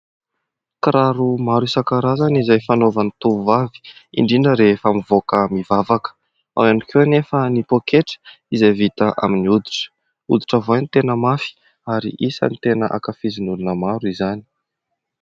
Kiraro maro isankarazany izay fanaovan'ny tovovavy; indrindra rehefa mivoaka mivavaka, ao ihany koa anefa ny poaketra izay vita amin'ny hoditra; hoditra voay ny tena mafy ,ary isan'ny tena hankafizin'ny olona maro izany.